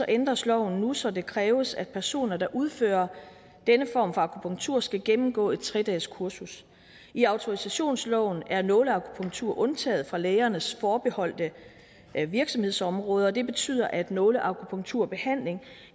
ændres loven nu så det kræves at personer der udfører denne form for akupunktur skal gennemgå et tre dageskursus i autorisationsloven er nåleakupunktur undtaget fra lægernes forbeholdte virksomhedsområder og det betyder at nåleakupunkturbehandling